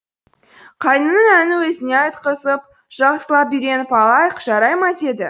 қайның әнін өзіне айтқызып жақсылап үйреніп алайық жарай ма деді